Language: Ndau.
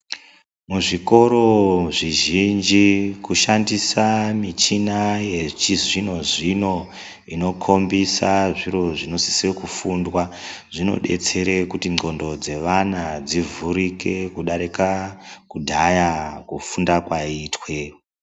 Muzvikoro zvizhinji kushandisa michina yechizvino-zvino inokombisa zviro zvinosise kufundwa zvinodetsere kuti ndxondo dzeana dzivhurike kudarika kudhaya kufunda kwaiitwe..